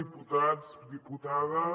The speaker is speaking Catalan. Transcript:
diputats diputades